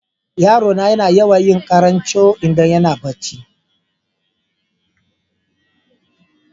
Yaro na yana yawan yin karan coo idan yana barci.